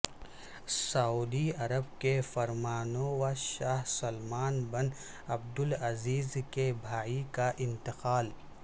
سعودی Arab کے فرمانروا شاہ سلمان بن عبدالعزیز کے بھائی کا انتقال